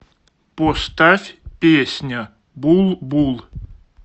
поставь песня булбул